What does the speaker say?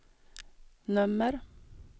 nummer